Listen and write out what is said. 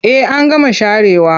Eh an gama sharewa.